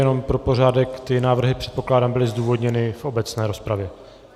Jenom pro pořádek, ty návrhy, předpokládám, byly zdůvodněny v obecné rozpravě.